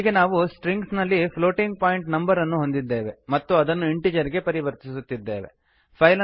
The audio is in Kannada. ಹೀಗೆ ನಾವು ಸ್ಟ್ರಿಂಗ್ಸ್ ನಲ್ಲಿ ಪ್ಲೋಟಿಂಗ್ ಪಾಯಿಂಟ್ ನಂಬರನ್ನು ಹೊಂದಿದ್ದೇವೆ ಮತ್ತು ಅದನ್ನು ಇಂಟೀಜರ್ ಗೆ ಪರಿವರ್ತಿಸುತ್ತಿದ್ದೇವೆ